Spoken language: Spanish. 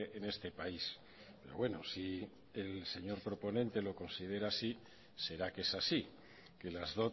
en este país pero bueno si el señor proponente lo considera así será que es así que las